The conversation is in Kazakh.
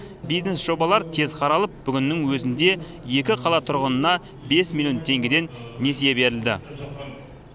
бизнес жобалар тез қаралып бүгіннің өзінде екі қала тұрғынына бес миллион теңгеден несие берілді